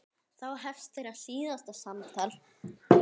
Þá hefst þeirra síðasta samtal.